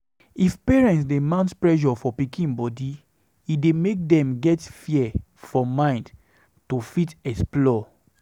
If parents dey mount pressure for pikin body, e dey make dem get fear for mind to fit explore